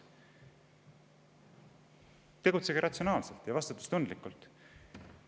Tegutsege ratsionaalselt ja vastutustundlikult!